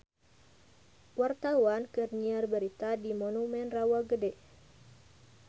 Wartawan keur nyiar berita di Monumen Rawa Gede